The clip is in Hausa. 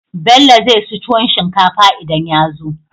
Bello zai ci tuwon shinkafa idan yazo